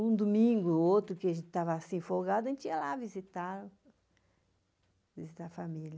Um domingo ou outro, que a gente estava assim folgado, a gente ia lá visitar a família.